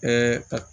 Bɛɛ ka